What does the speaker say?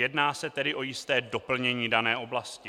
Jedná se tedy o jisté doplnění dané oblasti.